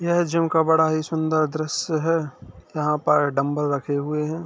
यह जिम का बड़ा ही सूंदर दृस्य है यहाँ पर डंबल रखे हुए हैं।